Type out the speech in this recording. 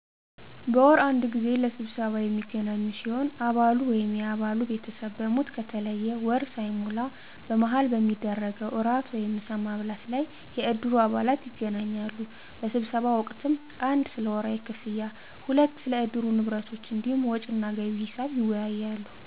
በወር አንድ ጊዜ ለስብሰባ የሚገናኙ ሲሆን አባሉ ወይም የአባሉ ቤተሰብ በሞት ከተለየ ወር ሳይሞላ በመሀል በሚደረገዉ ራት ወይም ምሳ ማብላት ላይ የእድሩ አባላት ይገናኛሉ በስብሰባ ወቅትም 1 ስለወርሀዊ ክፍያ ክፍያ 2 ስለእድሩ ንብረቶች እንዲሁም ወጭና ገቢ ሒሳብ ይወያያሉ